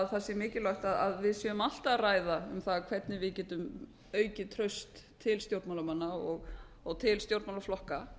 það sé mikilvægt að við séum alltaf að ræða um það hvernig við getum aukið traust til stjórnmálamanna og til stjórnmálaflokka